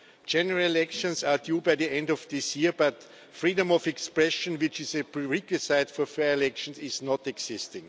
General elections are due by the end of this year, but freedom of expression, which is a prerequisite for fair elections, does not exist.